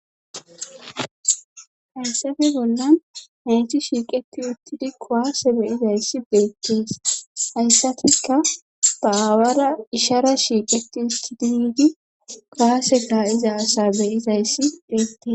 Hayssafe bollan haycthi shiiqeti uttidi kowaase be izayssi beettees hayssatika baawara ishara shiiqeti isti dinyidi gaase taa iza asa be izayssi beettes